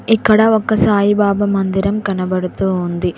ఇక్కడ ఒక సాయిబాబ మందిరం కనబడుతూ ఉంది.